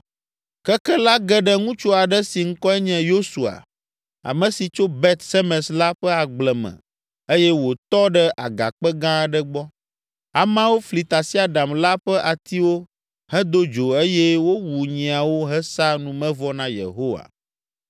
Keke la ge ɖe ŋutsu aɖe si ŋkɔe nye Yosua, ame si tso Bet Semes la ƒe agble me eye wòtɔ ɖe agakpe gã aɖe gbɔ. Ameawo fli tasiaɖam la ƒe atiwo hedo dzo eye wowu nyiawo hesa numevɔ na Yehowa.